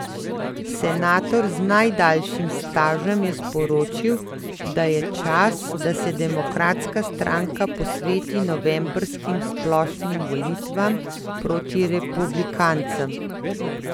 Senator z najdaljšim stažem je sporočil, da je čas, da se Demokratska stranka posveti novembrskim splošnim volitvam proti republikancem.